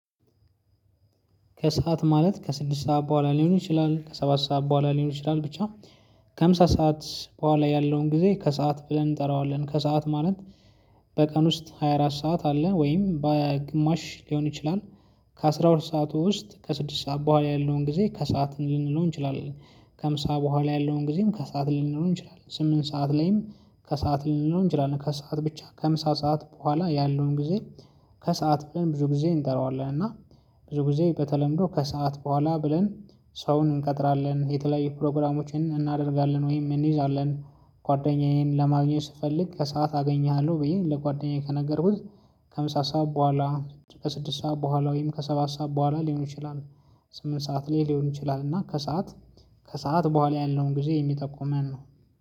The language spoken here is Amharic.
ከሰአት ማለት ከስድስት ሰዓት በኋላ ሊሆን ይችላል ከሰባት ሰዓት በኋላ ሊሆን ይችላል ብቻ ከምሳ ሰዓት በኋላ ያለውን ጊዜ ከሰአት ብለን እንጠራዋለን ከሰአት ማለት በቀን ውስጥ ሃያ አራት ሰዓት አለ ወይም በግማሽ ሊሆን ይችላል። ከአሥራ ሁለት ሰዓቱ ውስጥ ከስድስት ሰዓት በኋላ ያለውን ጊዜ ከሰአት ልንለው እንችላለን። ከምሳ በኋላ ያለውን ጊዜም ከሰአት ልንለው እንችላለን። ስምንት ሰዓት ለይም ከሰአት ልንለው እንችላለን ከሰአት ብቻ ከምሳ ሰዓት በኋላ ያለውን ጊዜ ከሰአት ብለን ብዙ ጊዜ እንጠራዋለን። እና ብዙ ጊዜ በተለምዶ ከሰአት በኋላ ብለን ሰውን እንቀጥራለን የተለያየ ፕሮግራሞችን እናደርጋለን ወይም እንይዛለን። ጓደኛዬን ለማግኘት ስፈልግ ከሰአት አገኝሀለው ብዬ ለጓደኛዬ ከነገርኩት። ከምሳ ሰዓት በኋላ ከስድስት ሰዓት በኋላ ወይም ከሰባት ሰዓት በኋላ ሊሆን ይችላል። ስምንት ሰዓት ላይ ሊሆን ይችላል እና ከሰአት ከሰአት በኋላ ያለውን ጊዜ የሚጠቁመን ነው